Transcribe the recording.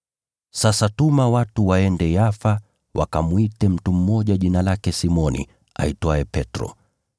Sasa tuma watu waende Yafa wakamwite mtu mmoja jina lake Simoni aitwaye Petro.